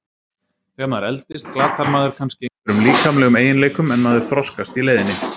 Þegar maður eldist glatar maður kannski einhverjum líkamlegum eiginleikum en maður þroskast í leiðinni.